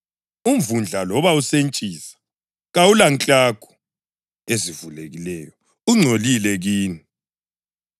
Umvundla, loba usentshisa, kawulanklagu ezivulekileyo; ungcolile kini.